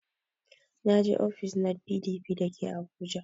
Na je ofis na PDP da ke abuja